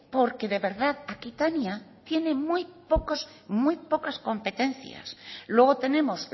porque de verdad aquitania tiene muy pocos muy pocas competencias luego tenemos